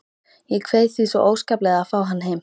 Ég kveið því svo óskaplega að fá hann heim.